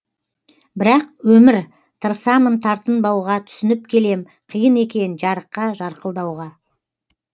бірақ өмір тырысамын тартынбауға түсініп келем қиын екен жарыққа жарқылдауға